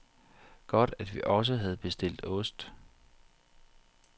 Godt, at vi også havde bestilt ost.